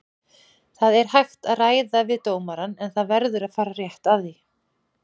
Það er hægt að ræða við dómarann en það verður að fara rétt að því.